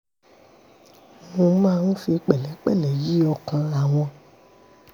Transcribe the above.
mo máa ń fi pẹ̀lẹ́pẹ̀lẹ́ yí ọkàn àwọn